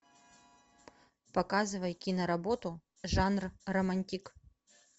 показывай киноработу жанр романтик